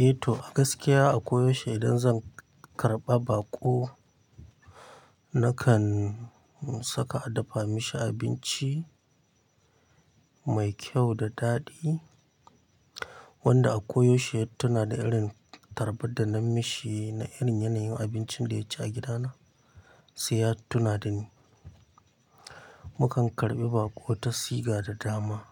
Eh to a gaskiya a koyaushe idan zan karɓa baƙo nakan saka a dafa mishi abinci mai kyau da daɗi. Wanda a koyaushe tanada irin tarbaɗa na mishi na irin yanayin abincin da yaci a gidana saiya tuna dani. Mukan karɓi baƙo ta siga da dama.